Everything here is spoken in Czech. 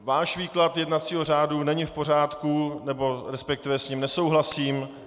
Váš výklad jednacího řádu není v pořádku, nebo respektive s ním nesouhlasím.